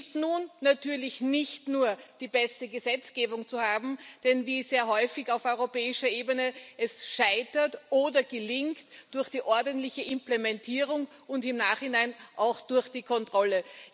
Es gilt nun, natürlich nicht nur die beste Gesetzgebung zu haben. Denn wie sehr häufig auf europäischer Ebene Es scheitert oder gelingt durch die ordentliche Implementierung und im Nachhinein auch durch die Kontrolle.